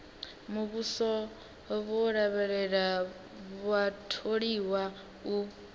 muvhuso vho lavhelela vhatholiwa u